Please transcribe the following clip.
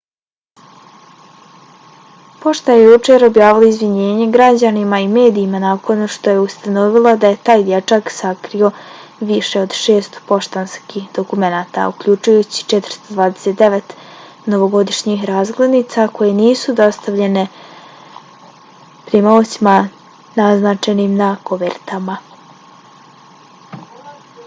pošta je jučer objavila izvinjenje građanima i medijima nakon što je ustanovila da je taj dječak sakrio više od 600 poštanskih dokumenata uključujući 429 novogodišnjih razglednica koje nisu dostavljene primaocima naznačenim na kovertama